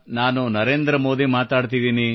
ನಾನು ನರೇಂದ್ರ ಮೋದಿ ಮಾತನಾಡುತ್ತಿದ್ದೇನೆ